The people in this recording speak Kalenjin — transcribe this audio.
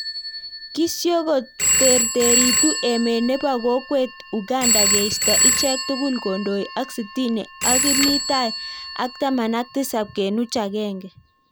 Kisyokoterteritu emet nebo kokwet ukanda keistoo ichek tugul kondoi ak sitini ak kimii tai ak taman ak tisap kenuch aenge